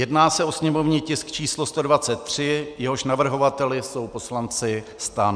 Jedná se o sněmovní tisk číslo 123, jehož navrhovateli jsou poslanci STAN.